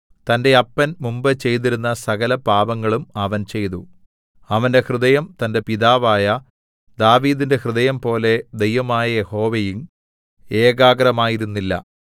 തന്റെ അപ്പൻ മുമ്പ് ചെയ്തിരുന്ന സകലപാപങ്ങളും അവൻ ചെയ്തു അവന്റെ ഹൃദയം തന്റെ പിതാവായ ദാവീദിന്റെ ഹൃദയംപോലെ ദൈവമായ യഹോവയിൽ ഏകാഗ്രമായിരുന്നില്ല